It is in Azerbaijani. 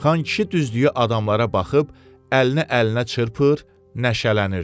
Xankişi düzdüyü adamlara baxıb, əlini əlinə çırpır, nəşələnirdi.